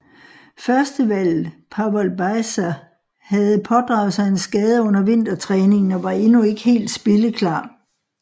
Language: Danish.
Førstevalget Pavol Bajza havde pådraget sig en skade under vintertræningen og var endnu ikke helt spilleklar